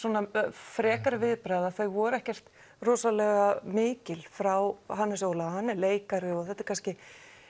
frekari viðbragða þau voru ekkert rosalega mikil frá Hannesi Óla hann er leikari og þetta er kannski